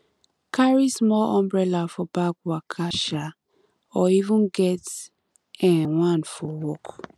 carry small umbrella for bag waka um or even get um one for work